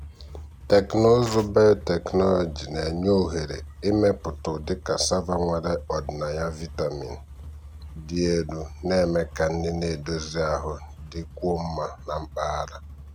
um um teknụzụ biotechnology na-enye ohere ịmepụta ụdị cassava nwere ọdịnaya vitamin um dị elu na-eme ka nri na-edozi ahụ dịkwuo mma na mpaghara.